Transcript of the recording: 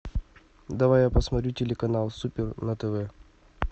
давай я посмотрю телеканал супер на тв